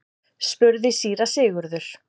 spurði síra Sigurður.